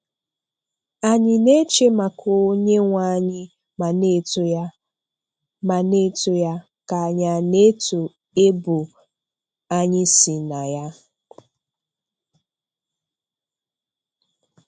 Anyị na-eche maka Onyenweanyị ma na-eto ya, ma na-eto ya, ka anyị a na-eto ebo anyị si na ya?